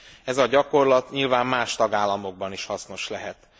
Ez a gyakorlat nyilván más tagállamokban is hasznos lehet.